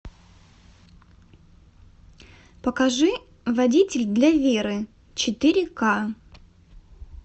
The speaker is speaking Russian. покажи водитель для веры четыре к